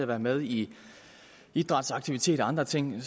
være med i idrætsaktiviteter og andre ting